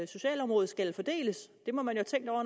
socialområde skal fordeles det må man